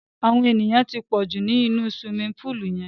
Àwọn èyàn ti pọ̀ jù ni inú siwimi púùlù yẹn.